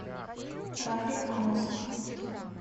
рафик амосов